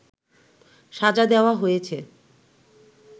সাজা দেওয়া হয়েছে